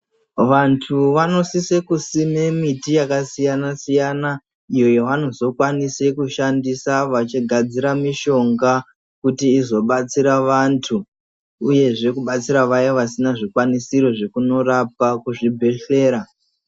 Vantu vanosise kusima miti yakasiyana siyana iyo yavanozokwanisa kushandisa vachigadzira mishonga vachizobatsira vantu uye zvekubatsira vaya vasina zvekwanisiro zvekunorapwa kuzvibhehlera.